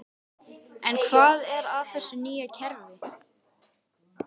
En hvað er að þessu nýja kerfi?